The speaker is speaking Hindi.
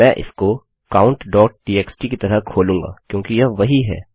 मैं इसको countटीएक्सटी की तरह खोलूँगा क्योंकि यह वही है